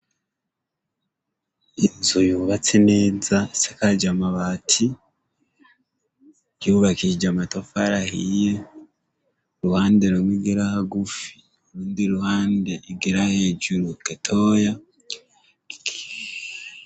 Inzu yubatse neza isakaje amabati, yubakishije amatafari ahiye, uruhande rumwe igera hagufi, urundi ruhande rugera hejuru gatoya.